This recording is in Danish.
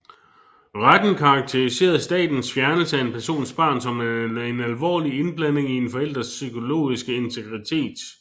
Retten karakteriserede statens fjernelse af en persons barn som en alvorlig indblanding i en forælders psykologiske integritet